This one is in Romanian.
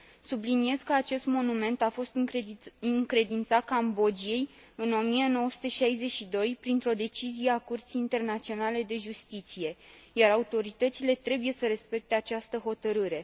Subliniez că acest monument a fost încredințat Cambodgiei în 1962, printr o decizie a Curții Internaționale de Justiție, iar autoritățile trebuie să respecte această hotărâre.